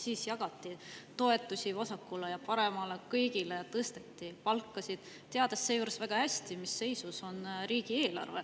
Siis jagati toetusi vasakule ja paremale, kõigil tõsteti palkasid, teades seejuures väga hästi, mis seisus on riigieelarve.